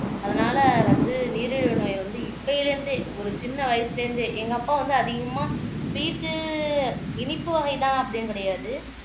அதனால வந்து நீரிழிவு நோய் வந்து இப்பயில இருந்தே ஒரு சின்ன வயசுல இருந்தே எங்க அப்பா வந்து அதிகமா ஸ்வீட்டு இனிப்பு வகைதான் அப்படின்னு கிடையாது